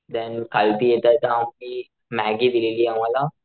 देणं खालती येता येता आम्ही मॅग्गी दिलेली आम्हला.